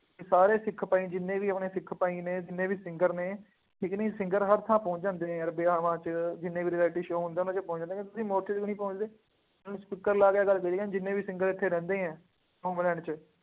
ਕਿ ਸਾਰੇ ਸਿੱਖ ਭਾਈ, ਜਿੰਨੇ ਵੀ ਆਪਣੇ ਸਿੱਖ ਭਾਈ ਨੇ, ਜਿੰਨੇ ਵੀ singer ਨੇ, ਠੀਕ ਕਿ ਨਹੀਂ, singer ਹਰ ਥਾਂ ਪਹੁੰਚ ਜਾਂਦੇ ਨੇ ਯਾਰ ਵਿਆਹਾਂ ਵਿੱਚ, ਜਿੰਨੇ ਵੀ reality show ਹੁੰਦੇ ਆ, ਉਹਨਾ ਵਿੱਚ ਪਹੁੰਚ ਜਾਂਦੇ ਆ, ਤੁਸੀਂ ਮੌਕੇ ਤੇ ਨਹੀਂ ਪਹੁੰਚਦੇ, ਹੁਣ sticker ਲਗਾ ਕੇ ਰੱਖਦੇ ਆ, ਜਿੰਨ੍ਹੇ ਵੀ singer ਇੱਥੇ ਰਹਿੰਦੇ ਆ, ਹੋਮਲੈਂਡ ਚ,